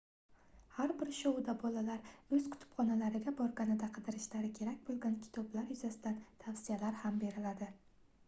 har bir shouda bolalar oʻz kutubxonalariga borganida qidirishlari kerak boʻlgan kitoblar yuzasidan tavsiyalar ham beriladi